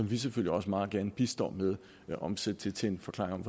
vi selvfølgelig også meget gerne bistår med at omsætte til til en forklaring